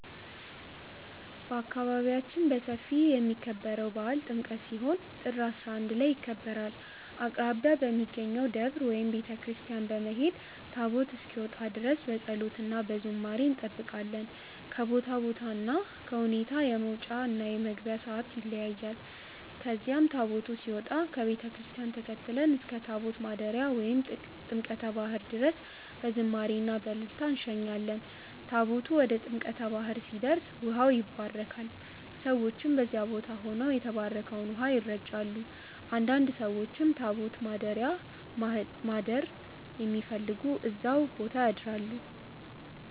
በአካባቢያችን በሰፊ የሚከበረው በዓል ጥምቀት ሲሆን ጥር 11 ላይ ይከበራል። አቅራቢያ በሚገኘው ደብር ወይም ቤተ ክርስቲያን በመሄድ ታቦት እስኪወጣ ድረስ በፀሎት እና በዝማሬ እንጠብቃለን። ከቦታ ቦታ እና ከሁኔታ የመውጫ እና የመግቢያ ሰዓት ይለያያል። ከዚያም ታቦቱ ሲወጣ ከቤተ ክርስቲያን ተከትለን እስከ ታቦት ማደሪያ ወይም ጥምቀተ ባህር ድረስ በዝማሬ እና በእልልታ እንሸኛለን። ታቦቱ ወደ ጥምቀተ ባህር ሲደርስ ውሃው ይባረካል፣ ሰዎችም በዚያ ቦታ ሆነው የተባረከውን ውሃ ይረጫሉ። አንዳንድ ሰዎችም ታቦት ማደሪያ ማደር የሚፈልጉ እዛው ቦታ ያድራሉ።